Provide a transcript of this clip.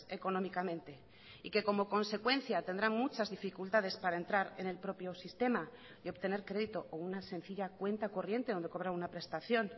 económicamente y que como consecuencia tendrán muchas dificultades para entrar en el propio sistema y obtener crédito o una sencilla cuenta corriente donde cobrar una prestación